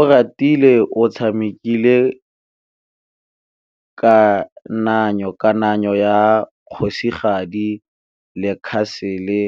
Oratile o tshamekile kananyô ya kgosigadi le khasêlê